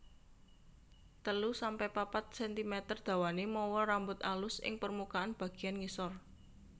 telu sampe papat sentimeter dawané mawa rambut alus ing permukaan bagéyan ngisor